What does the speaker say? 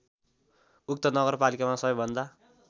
उक्त नगरपालिकामा सबैभन्दा